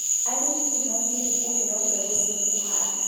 Arĩmi nĩ mathire kũheo mbegũ cia kũhanda